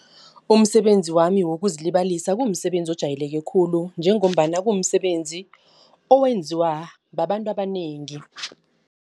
Umsebenzi wami wokuzilibazisa kumsebenzi ojayeleke khulu njengombana kumsebenzi owenziwa babantu abanengi.